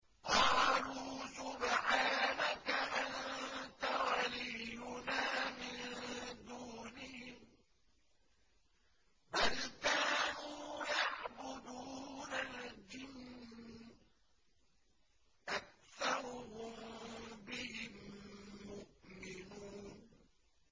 قَالُوا سُبْحَانَكَ أَنتَ وَلِيُّنَا مِن دُونِهِم ۖ بَلْ كَانُوا يَعْبُدُونَ الْجِنَّ ۖ أَكْثَرُهُم بِهِم مُّؤْمِنُونَ